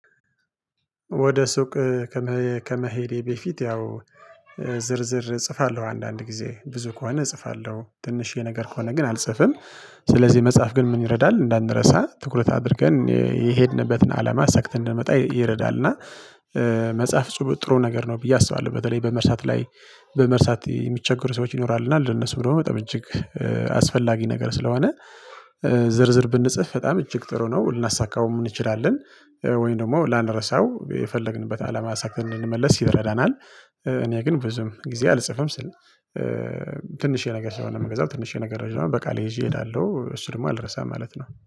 ወደ ሱቅ ከመሄዴ በፊት ያው ዝርዝር እጽፋለሁ አንዳንድ ጊዜ ብዙ ከሆነ እጽፋለሁ ትንሽዬ ነገር ከሆነ ግን አልጽፍም። ስለዚህ መጻፍ ግን ምን ይረዳል እንዳንረሳ ትኩረት አድርገን የሄድንበትን አለማ አሳክተን እንድንመጣ ይረዳል። እና መጻፍ ጥሩ ነገር ነው ብዬ አስባለሁ። በተለይ በመርሳት ላይ በመርሳት የሚቸገሩ ሰዎች ይኖራሉ። እና ለነሱ ብሎ በጣም እጅግ አስፈላጊ ነገር ስለሆነ። ዝርዝር ብንጽፍ በጣም እጅግ ጥሩ ነው ልናሳካውም እንችላለን። ወይን ደግሞ ላንረሳው የፈለግንበት አላማ አሳክተን እንድንመለስ ይረዳናል። እኔ ግን ብዙም ጊዜ አልጽፍም። ትንሽ የሆነ ነገር ስለምገዛ ትንሽ ነገር በቃሌ ይዤ እሄዳለሁ እሱ ደግሞ አልረሳም ማለት ነው